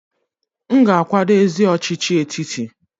M ga-akwado ezi ọchịchị etiti.